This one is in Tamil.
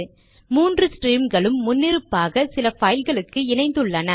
மூன்று ஸ்ட்ரீம்களும் முன்னிருப்பாக சில பைல்களுக்கு இணைந்துள்ளன